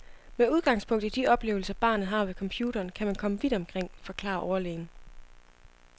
Med udgangspunkt i de oplevelser barnet har ved computeren, kan man komme vidt omkring, forklarer overlægen.